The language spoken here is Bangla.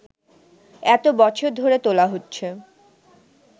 এতো বছর ধরে তোলা হচ্ছে